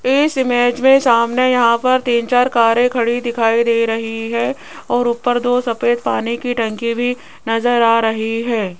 इस इमेज में सामने यहां पर तीन चार कारे खड़ी दिखाई दे रही है और ऊपर दो सफेद पानी की टंकी भी नजर आ रही है।